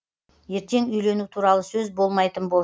ертең үйлену туралы сөз болмайтын болсын